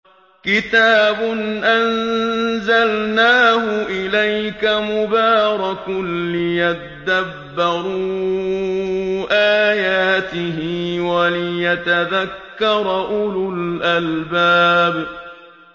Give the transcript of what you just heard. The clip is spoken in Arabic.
كِتَابٌ أَنزَلْنَاهُ إِلَيْكَ مُبَارَكٌ لِّيَدَّبَّرُوا آيَاتِهِ وَلِيَتَذَكَّرَ أُولُو الْأَلْبَابِ